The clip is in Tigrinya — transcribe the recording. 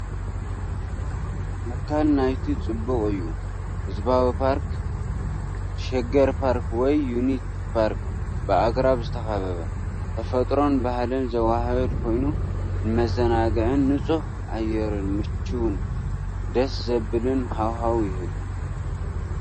ኣካል ናይቲ ጽቡቕ እዩ። ህዝባዊ ፓርክ (ሸገር ፓርክ ወይ ዩኒቲ ፓርክ) ብኣግራብ ዝተኸበበ። ተፈጥሮን ባህልን ዘወሃህድ ኮይኑ፡ ንመዘናግዕን ንጹህ ኣየርን ምቹእን ደስ ዘብልን ሃዋህው ይህብ።